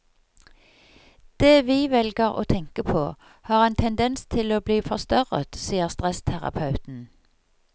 Det vi velger å tenke på, har en tendens til å bli forstørret, sier stressterapeuten.